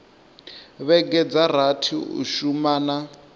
vhege dza rathi u shumana